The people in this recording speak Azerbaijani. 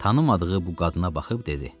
Tanımadığı bu qadına baxıb dedi: